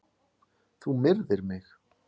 Þú myrðir mig!